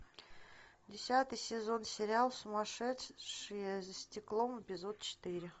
десятый сезон сериал сумасшедшие за стеклом эпизод четыре